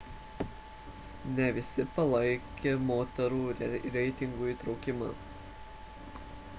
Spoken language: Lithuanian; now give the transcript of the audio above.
ne visi palaikė moterų reitingų įtraukimą